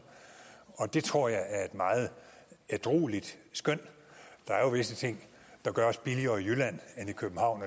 og det tror jeg er et meget ædrueligt skøn der er jo visse ting der gøres billigere i jylland end i københavn